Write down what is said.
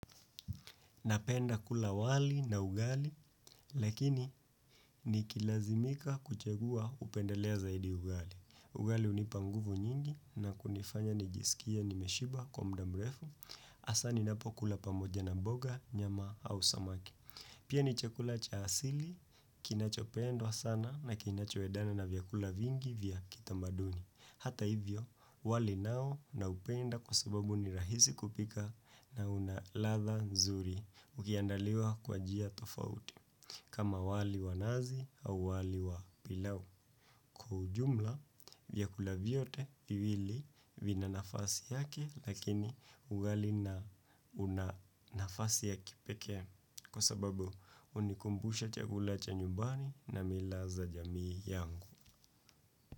Napenda kula wali na ugali, lakini ni kilazimika kuchagua upendelea zaidi ugali. Ugali unipa nguvu nyingi na kunifanya nijisikie nimeshiba kwa mda mrefu, asa ninapo kula pamoja na mboga, nyama au samaki. Pia ni chakula cha asili, kinacho pendwa sana na kinacho edana na vyakula vingi vya kitamaduni. Hata hivyo, wali nao naupenda kwa sababu ni rahisi kupika na una ladha nzuri. Ukiandaliwa kwa jia tofauti kama wali wa nazi au wali wa pilau kwa ujumla viakula vyote viwili vina nafasi yake lakini ugali na una nafasi ya kipekee kwa sababu unikumbusha chakula cha nyumbani na mila za jamii yangu.